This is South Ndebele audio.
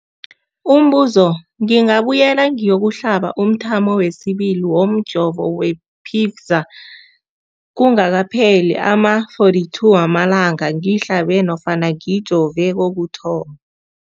Umbuzo, ngingabuyela ngiyokuhlaba umthamo wesibili womjovo we-Pfizer kungakapheli ama-42 wamalanga ngihlabe nofana ngijove kokuthoma.